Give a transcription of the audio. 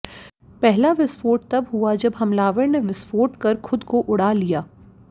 पहला विस्फोट तब हुआ जब हमलावर ने विस्फोट कर खुद को उड़ा लिया